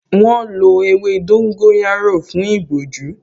Wọ́n lọ ewé dóngóyárò fún ìbojú